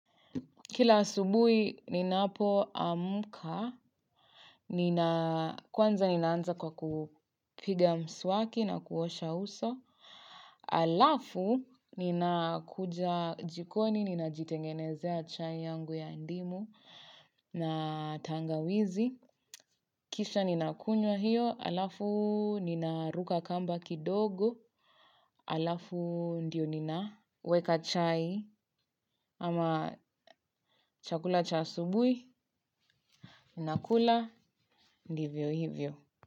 Kila asubuhi ninapo amka, kwanza ninaanza kwa kupiga mswaki na kuosha uso. Alafu ninakuja jikoni ninajitengenezea chai yangu ya ndimu na tangawizi kisha ninakunya hiyo, alafu nina ruka kamba kidogo, alafu ndio ninaweka chai ama chakula cha asubuhi. Na kula ndivyo hivyo.